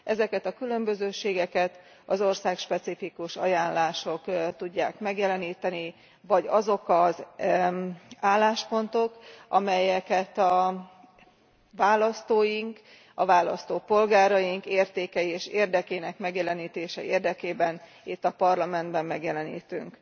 Ezeket a különbözőségeket az országspecifikus ajánlások tudják megjeleníteni, vagy azok az álláspontok, amelyeket a választóink, a választópolgáraink értékei és érdekének megjelenítése érdekében itt a Parlamentben megjelenítünk.